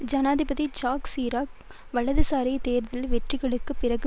ஜனாதிபதி Jacques Chirac வலதுசாரிகளின் தேர்தல் வெற்றிகளுக்குப் பிறகு